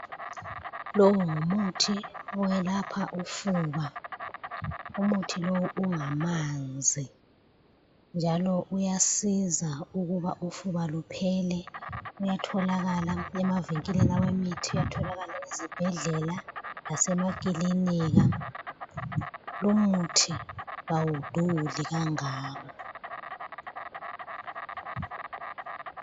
Longumuthi oyelapha ufuba, umuthi lowu ungamanzi njalo uyasiza ukuba ufuba luphele. Uyatholakala emavinkilini awemithi, uyatholakala ezibhedlela lasemakilinika. Lumuthi kawuduli kangako.